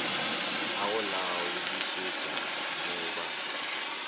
a go laodišetša mo ba